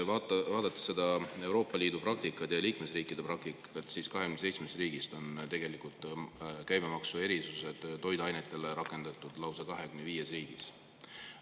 Vaatame Euroopa Liidu ja liikmesriikide praktikat: 27 riigist on toiduainete käibemaksuerisusi rakendatud lausa 25 riigis.